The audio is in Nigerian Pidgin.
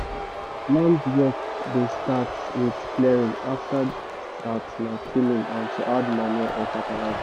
land work dey start with clearing after that na tilling and to add manure or fertilizer